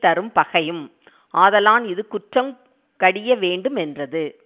தரும் பகையும் ஆதலான் இது குற்றங் கடிய வேண்டு மென்றது